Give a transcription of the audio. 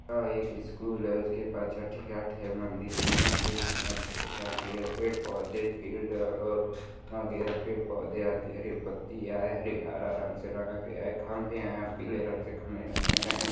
यह एक स्कूल है उसके पास छट्ठी घाट है मंदिर में मंदिर में छट्ठी घाट भी है पेड पौधे फील्ड और हारा रंग से रंगा गया है खम्बे हैं पीले रंग से खम्बे रंगे गए हैं |